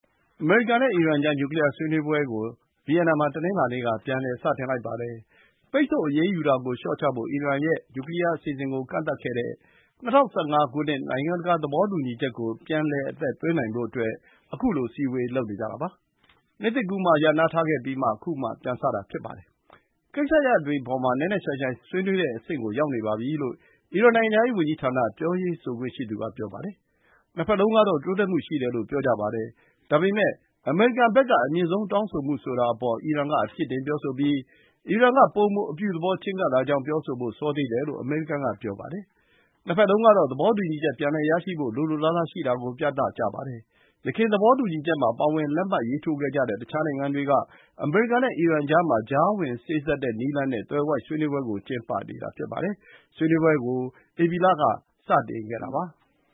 အမေရိကန်နဲ့ အီရန်ကြား နျူကလီယား ဆွေးနွေးပွဲကို ဗီယင်နာမှာ တနင်္လာနေ့က ပြန်လည် စတင်လိုက်ပါတယ်။ ပိတ်ဆို့အရေးယူတာကို လျှော့ချဖို့ အီရန်ရဲ့နျူကလီယား အစီအစဉ်ကို ကန့်သတ်ခဲ့တဲ့ ၂၀၁၅ နိုင်ငံတကာ သဘောတူညီချက်ကို ပြန်လည် အသက်သွင်းနိုင်ဖို့အတွက် ခုလို အစည်းအဝေး လုပ်နေကြတာပါ။ နှစ်သစ်ကူးမှာ ရပ်နားထားခဲ့ပြီး ခု ပြန်လည်စတင်တာ ဖြစ်ပါတယ်။ ကိစ္စရပ်တွေအပေါ်မှာ နက်နက်ရှိုင်ရှိုင်း ဆွေးနွေးတဲ့အဆင့်ကို ရောက်နေပါပြီလို့ အီရန် နိုင်ငံခြားရေး ဝန်ကြီးဌာန ပြောရေးဆိုခွင့်ရှိသူက ပြောပါတယ်။ နှစ်ဘက်လုံးကတော့ တိုးတက်မှု ရှိတယ်လို့ ပြောကြပါတယ်။ ဒါပေမဲ့ အမေရိကန်ဘက်က အမြင့်ဆုံး တောင်းဆိုမှုဆိုတာအပေါ် အီရန်က အပြစ်တင် ပြောဆိုပြီး အီရန်က ပိုမို အပြုသဘော ချဉ်းကပ်လာကြောင်း ပြောဆိုဖို့ စောသေးတယ်လို့ အမေရိကန် ပြောပါတယ်။ နှစ်ဘက်လုံးကတော့ သဘောတူညီချက် ပြန်ရရှိဖို့ လိုလိုလားလားရှိတာကို ပြသကြပါတယ်။ ယခင် သဘောတူညီချက်မှာ ပါဝင်လက်မှတ်ရေးထိုးခဲ့ကြတဲ့ တခြားနိုင်ငံတွေက အမေရိကန်နဲ့ အီရန်ကြားမှာ ကြားဝင်စေ့စပ်တဲ့နည်းလမ်းနဲ့ သွယ်ဝိုက် ဆွေးနွေးပွဲကို ကျင်းပနေတာ ဖြစ်ပါတယ်။ ဆွေးနွေးပွဲတွေကို ဧပြီလက စခဲ့တာပါ။